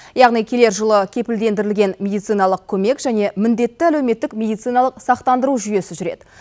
яғни келер жылы кепілдендірілген медициналық көмек және міндетті әлеуметтік медициналық сақтандыру жүйесі жүреді